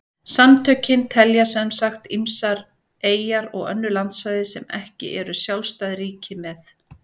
Samtökin telja sem sagt ýmsar eyjar og önnur landsvæði sem ekki eru sjálfstæð ríki með.